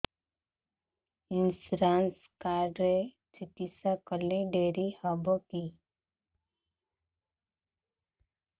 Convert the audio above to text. insurance card ରେ ଚିକିତ୍ସା କଲେ ଡେରି ହବକି